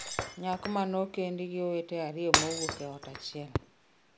Nyako mane okendi gi owete ariyo mowuok e ot achiel